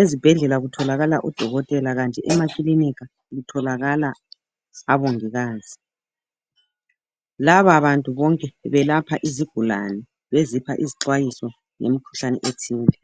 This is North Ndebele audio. Ezibhedlela kutholakala odokotela, kanti emakilinika kutholakala abongikazi lababantu bonke belapha izigulane, bezipha izixwayiso ngemikhuhlane ethile.